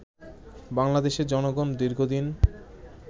বাংলাদেশের জনগণ দীর্ঘদিন